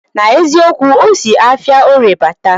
Na eziokwu, osi afia orie bata